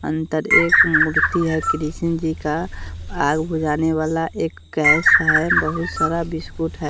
अंदर एक मूर्ति है कृष्ण जी का आग बुझाने वाला एक गैस है बहुत सारा बिस्किट है।